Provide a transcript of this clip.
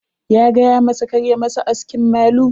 Ya gayamasa kar a masa askin malu.